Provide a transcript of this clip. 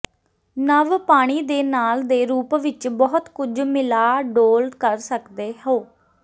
ਨਵ ਪਾਣੀ ਦੇ ਨਾਲ ਦੇ ਰੂਪ ਵਿੱਚ ਬਹੁਤ ਕੁਝ ਮਿਲਾ ਡੋਲ੍ਹ ਕਰ ਸਕਦੇ ਹੋ